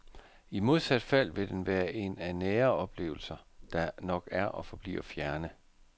I modsat fald vil den være en af nære oplevelser, der nok er og forbliver fjerne.